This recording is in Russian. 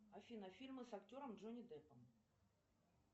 афина фильмы с актером джонни деппом